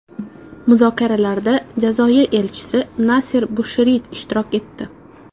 Muzokaralarda Jazoir elchisi Naser Busherit ishtirok etdi.